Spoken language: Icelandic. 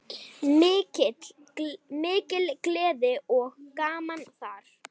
Mikil gleði og gaman þar.